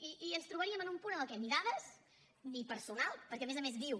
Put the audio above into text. i ens trobaríem en un punt en el que ni dades ni personal perquè a més a més diu